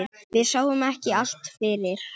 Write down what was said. Við sáum ekki allt fyrir.